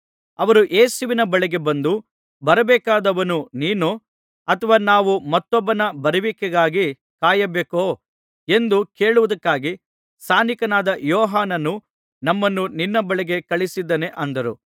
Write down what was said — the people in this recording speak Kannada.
ಅವರು ಯೇಸುವಿನ ಬಳಿಗೆ ಬಂದು ಬರಬೇಕಾದವನು ನೀನೋ ಅಥವಾ ನಾವು ಮತ್ತೊಬ್ಬನ ಬರುವಿಕೆಗಾಗಿ ಕಾಯಬೇಕೋ ಎಂದು ಕೇಳುವುದಕ್ಕಾಗಿ ಸ್ನಾನಿಕನಾದ ಯೋಹಾನನು ನಮ್ಮನ್ನು ನಿನ್ನ ಬಳಿಗೆ ಕಳುಹಿಸಿದ್ದಾನೆ ಅಂದರು